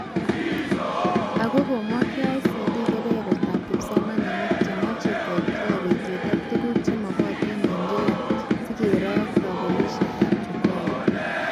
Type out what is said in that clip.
Akoi komwa KICD kebebertaab kipsomanink chemache koit kila betut ak tuguk chemagatin eng kila sikero kabelishetab chukwait